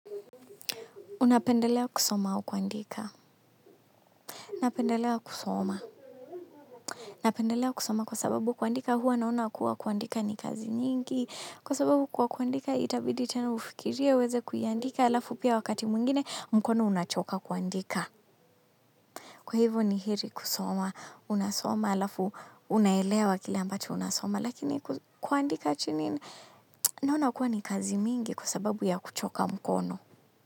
Unapendelea kusoma au kuandika? Napendelea kusoma. Napendelea kusoma kwa sababu kuandika huwa naona kuwa kuandika ni kazi nyingi. Kwa sababu kwa kuandika itabidi tena ufikirie uweze kuiandika alafu pia wakati mwingine mkono unachoka kuandika. Kwa hivyo ni heri kusoma unasoma alafu unaelewa kile ambacho unasoma. Lakini kuandika chini naona kuwa ni kazi mingi kwa sababu ya kuchoka mkono.